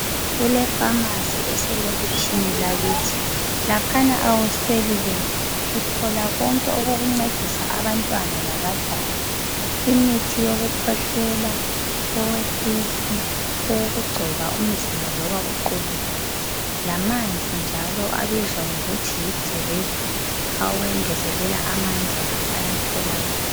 Kulefamasi eselokitshini lakithi, laphana awusweli lutho. Uthola konke okokuncedisa abantwana labadala. Imithi yokukhwehlela, owesisu, owokugcoba umzimba loba uqubukile lamanzi njalo abizwa ngokuthi yi 'drip' awengezelela amandla lawo ayatholakala.